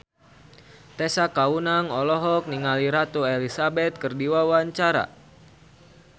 Tessa Kaunang olohok ningali Ratu Elizabeth keur diwawancara